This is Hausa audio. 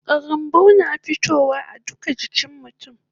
Karambau na fitowa a duka jikin mutun